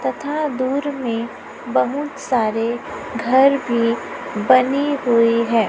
तथा दूर में बहुत सारे घर भी बने हुए है।